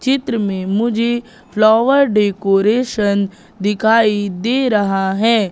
चित्र में मुझे फ्लावर डेकोरेशन दिखाई दे रहा है।